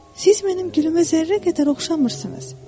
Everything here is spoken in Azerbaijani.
Siz mənim gülümə zərrə qədər oxşamırsınız.